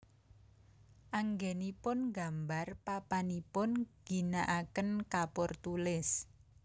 Anggénipun nggambar papanipun ngginakaken kapur tulis